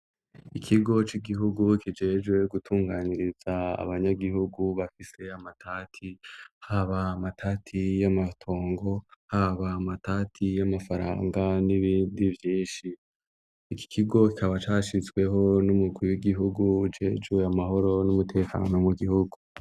Ikigo c'igihugu kijejwe gutunganiriza abanyagihugu bafise amatati, haba amatati y'amatongo, haba amatati y'amafaranga n'ibindi vyinshi. Iki kigo kikaba cashizweho n'umugwi w'igihugu ujejwe amahoro n'umutekano mu gihugu.